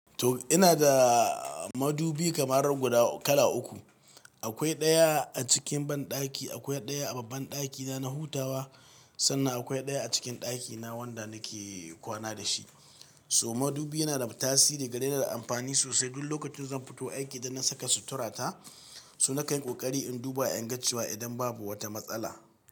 To ina da madubi kamar guda kala uku. Akwai ɗaya a cikin banɗaki, akwai ɗaya a babban ɗakina na hutawa sannan akwai ɗaya a cikin ɗakina wanda nake kwana da shi. So madubi yana da tasiri yana da amfani sosai. Duk lokacin zan fito aiki da na saka suturata so na kan yi ƙoƙari in duba in ga cewa idan babu wata matsala.